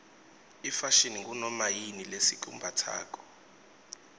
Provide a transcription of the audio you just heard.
ifashini ngunoma yini lesikumbatsako